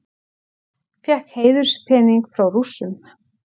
Fékk heiðurspening frá Rússum